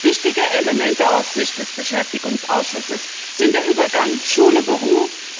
Ein wichtiger Aspekt aus Sicht des Beschäftigungsausschusses ist der Übergang Schule Beruf.